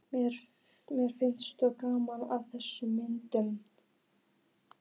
Mér finnst gaman að þessum myndum,